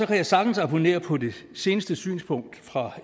kan jeg sagtens abonnere på det seneste synspunkt fra